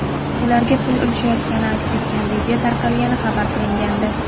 ularga pul ulashayotgani aks etgan video tarqalgani xabar qilingandi.